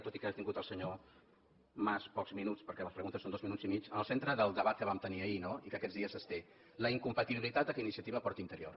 tot i que ha tingut el senyor mas pocs minuts perquè les preguntes són dos minuts i mig en el centre del debat que vam tenir ahir no i que aquests dies es té la incompatibilitat que iniciativa porti interior